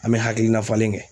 An bɛ hakilina falen kɛ.